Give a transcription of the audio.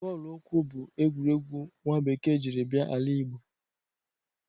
Bọọlụ ụkwụ bụ egwuregwu nwa bekee jiri bia ala Igbo.